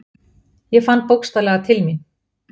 Ég fann bókstaflega til mín.